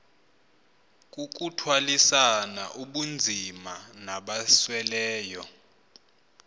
kukuthwalisana ubunzima nabasweleyo